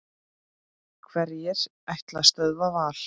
Hverjir ætla að stöðva Val?